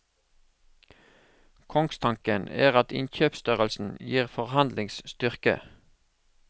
Kongstanken er at innkjøpsstørrelse gir forhandlingsstyrke.